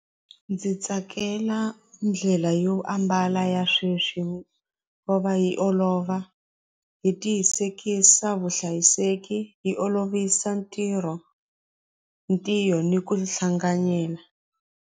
Ndzi tsakela ndlela yo ambala ya sweswi va yi olova hi tiyisekisa vuhlayiseki yi olovisa ntirho ntirho ni ku hlanganyela.